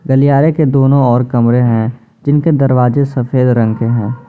गलियारे के दोनों और कमरे हैं जिनके दरवाजे सफेद रंग के हैं।